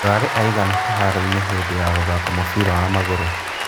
Mũrarĩ aigana kĩharo hĩndĩ ya gũthaka mũbira wa magũrũ?